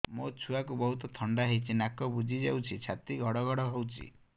ମୋ ଛୁଆକୁ ବହୁତ ଥଣ୍ଡା ହେଇଚି ନାକ ବୁଜି ଯାଉଛି ଛାତି ଘଡ ଘଡ ହଉଚି